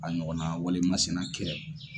A ɲɔgɔn na wale masina kɛ.